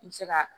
I bɛ se ka